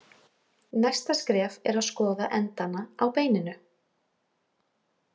Næsta skref er að skoða endana á beininu.